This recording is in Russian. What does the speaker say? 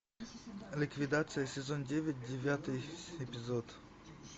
ликвидация сезон девять девятый эпизод